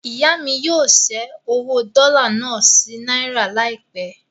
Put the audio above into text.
Ìyá mí yóò ṣẹ́ owó dọ́là náà sí náírà láìpẹ́.